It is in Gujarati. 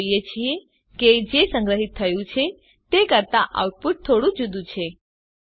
આપણે જોઈએ છીએ કે જે સંગ્રહીત થયું છે તે કરતા આઉટપુટ થોડું જુદું છે